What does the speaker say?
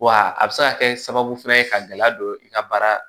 Wa a bɛ se ka kɛ sababu fɛnɛ ye ka gɛlɛya don i ka baara